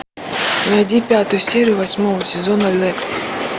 найди пятую серию восьмого сезона некст